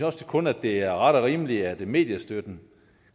også kun at det er ret og rimeligt at mediestøtten